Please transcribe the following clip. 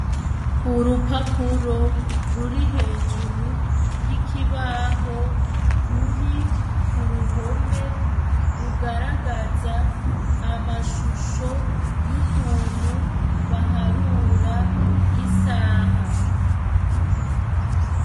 Urupapuro ruri hejuru y'ikibaho ruri kuruhome rugaragaza amashusho yukuntu baharura isaha.